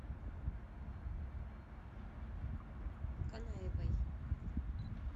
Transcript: канаевой